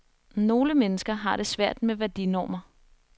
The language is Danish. Nogle mennesker har det svært med værdinormer.